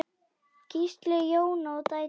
Gísli, Jóna og dætur.